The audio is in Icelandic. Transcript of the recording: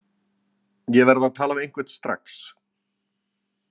Ég verð að tala við einhvern strax!